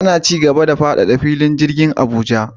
Ana cigaba da faɗaɗa filin jirgin Abuja